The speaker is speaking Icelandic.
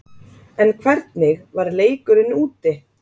En hvernig var leikurinn úti?